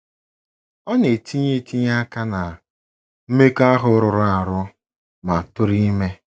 Ọ na - etinye etinye aka ná mmekọahụ rụrụ arụ ma tụrụ ime.